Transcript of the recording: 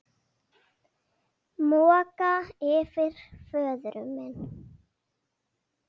Moka yfir föður minn.